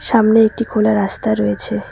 সামনে একটি খোলা রাস্তা রয়েছে।